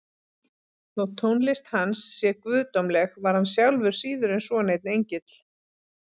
Þótt tónlist hans sé guðdómleg var hann sjálfur síður en svo neinn engill.